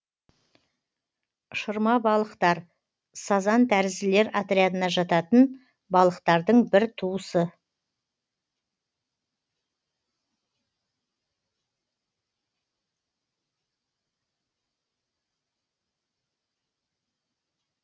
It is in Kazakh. шырмабалықтар сазан тәрізділер отрядына жататын балықтардың бір туысы